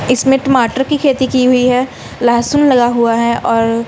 इसमें टमाटर की खेती की हुई है लहसुन लगा हुआ है और--